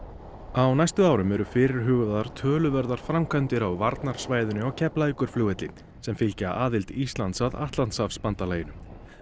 á næstu árum eru fyrirhugaðar töluverðar framkvæmdir á varnarsvæðinu á Keflavíkurflugvelli sem fylgja aðild Íslands að Atlantshafsbandalaginu